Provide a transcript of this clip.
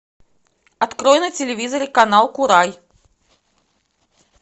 открой на телевизоре канал курай